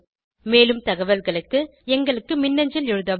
மேலும் தகவல்களுக்கு contactspoken tutorialorg க்கு மின்னஞ்சல் எழுதவும்